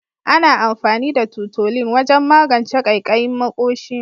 Ana amfani da tutolin wajen magance kaikayin maƙoshi.